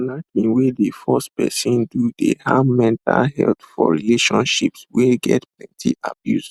knacking wey dey force person do dey harm mental health for relationships wey get plenty abuse